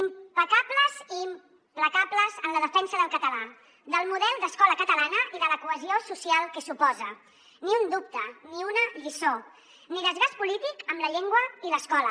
impecables i implacables en la defensa del català del model d’escola catalana i de la cohesió social que suposa ni un dubte ni una lliçó ni desgast polític amb la llengua i l’escola